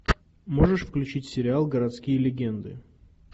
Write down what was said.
можешь включить сериал городские легенды